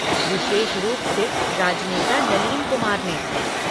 विशेष रूप से राजनेता नलीन कुमार ने।